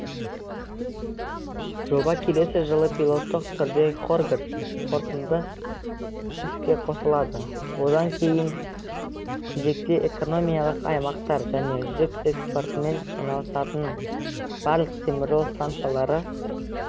жоба келесі жылы пилоттық түрде хоргос портынды іске қосылады одан кейінгі кезекте экономикалық аймақтар және жүк экспортымен айналысатын барлық теміржол станциялары